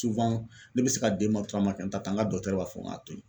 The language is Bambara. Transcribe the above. ne bɛ se ka kɛ n t'a ta n ka b'a fɔ ŋ'a to ye.